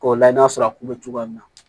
K'o layɛ n'a sɔrɔ a kun bɛ cogoya min na